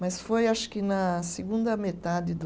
Mas foi, acho que na segunda metade do